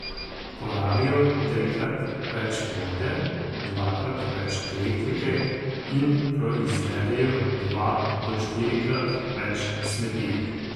Porabijo trikrat več vode, dvakrat več elektrike in proizvedejo dva do štirikrat več smeti.